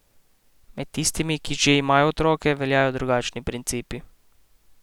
Med tistimi, ki že imajo otroke, veljajo drugačni principi.